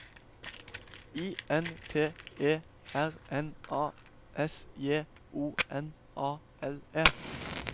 I N T E R N A S J O N A L E